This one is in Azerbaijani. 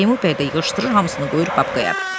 Teymur bəy də yığışdırır hamısını qoyur papkaya.